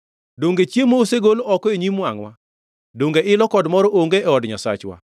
Donge chiemo osegol oko e nyim wangʼwa; donge ilo kod mor onge e od Nyasachwa?